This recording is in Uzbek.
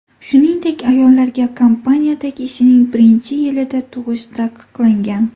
Shuningdek, ayollarga kompaniyadagi ishining birinchi yilida tug‘ish taqiqlangan.